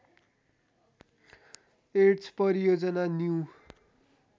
AIDS परियोजना new